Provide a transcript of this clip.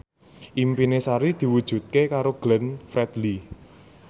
impine Sari diwujudke karo Glenn Fredly